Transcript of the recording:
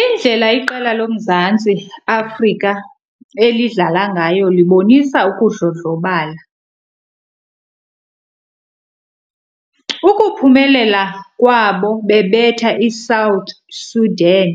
Indlela iqela loMzantsi Afrika elidlala ngayo libonisa ukudlodlobala. Ukuphumelela kwabo bebetha iSouth Sudan